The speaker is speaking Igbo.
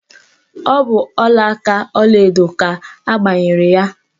Ọ bụ ọlaaka ọlaedo ka ọ gbanyere ya.